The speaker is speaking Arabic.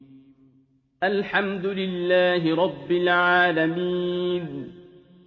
الْحَمْدُ لِلَّهِ رَبِّ الْعَالَمِينَ